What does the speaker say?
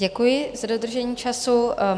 Děkuji za dodržení času.